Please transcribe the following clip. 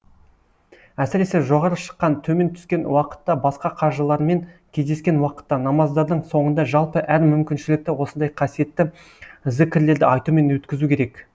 әсіресе жоғары шыққан төмен түскен уақытта басқа қажылармен кездескен уақытта намаздардың соңында жалпы әр мүмкіншілікті осындай қасиетті зікірлерді айтумен өткізу керек